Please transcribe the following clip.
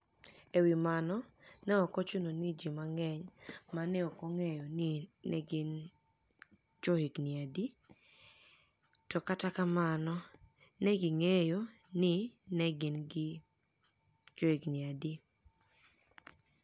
E wi mano, ni e ok ochuno nii ji manig'eniy ma ni e ok onig'eyo nii ni e gini johiginii adi kata nii ni e gini johiginii adi, monido onig'e nii ni e gini johiginii adi kata nii ni e gini johiginii adi, kata kamano, ni e ginig'eyo nii ni e gini johiginii adi.